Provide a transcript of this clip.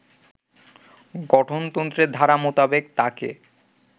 গঠনতন্ত্রের ধারা মোতাবেক তাকে